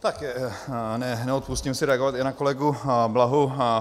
Tak neodpustím si reagovat i na kolegu Blahu.